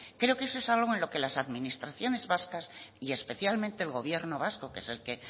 creo que eso es algo en lo que las administraciones vascas y especialmente el gobierno vasco que es al